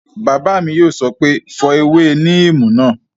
Bàbá mi yóò sọ pé "fọ ewé níìmù náà!"